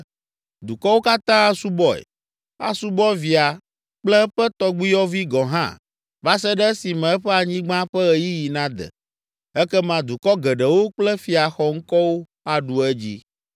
Dukɔwo katã asubɔe, asubɔ via kple eƒe tɔgbuiyɔvi gɔ̃ hã va se ɖe esime eƒe anyigba ƒe ɣeyiɣi nade. Ekema dukɔ geɖewo kple fia xɔŋkɔwo aɖu edzi.